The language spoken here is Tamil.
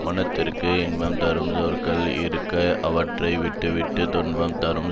மனத்திற்கு இன்பம் தரும் சொற்கள் இருக்க அவற்றை விட்டுவிட்டுத் துன்பம் தரும்